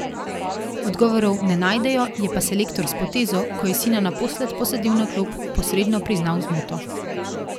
Odgovorov ne najdejo, je pa selektor s potezo, ko je sina naposled posadil na klop, posredno priznal zmoto.